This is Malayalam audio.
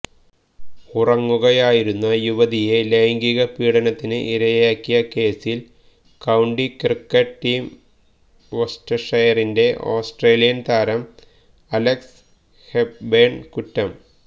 ഉറങ്ങുകയായിരുന്ന യുവതിയെ ലൈംഗീക പീഡനത്തിന് ഇരയാക്കിയ കേസില് കൌണ്ടി ക്രിക്കറ്റ് ടീം വോസ്റ്റഷെയറിന്റെ ഓസ്ട്രേലിയന് താരം അലെക്സ് ഹെപ്ബേണ് കുറ്റം